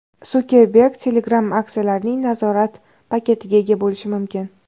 Sukerberg Telegram aksiyalarining nazorat paketiga ega bo‘lishi mumkin.